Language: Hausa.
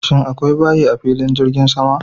Shin akwai bayi a filin jirgin sama?